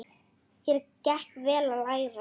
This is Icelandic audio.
Þér gekk vel að læra.